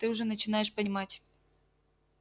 ты уже начинаешь понимать